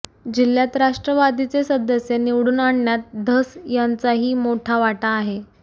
जिल्ह्यात राष्ट्रवादीचे सदस्य निवडून आणण्यात धस यांचाही मोठा वाटा आहे